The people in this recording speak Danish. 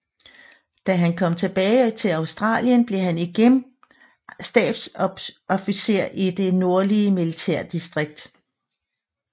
Da han kom tilbage til Australien blev han igen stabsofficer i det nordlige militærdistrikt